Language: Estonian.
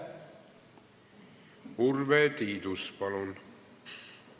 Urve Tiidus, palun!